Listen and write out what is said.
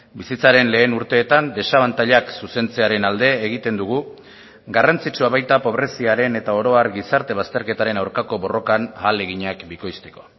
bizitzaren lehen urteetan desabantailak zuzentzearen alde egiten dugu garrantzitsua baita pobreziaren eta oro har gizarte bazterketaren aurkako borrokan ahaleginak bikoizteko